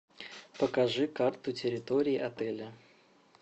покажи карту территории отеля